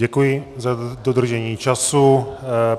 Děkuji za dodržení času.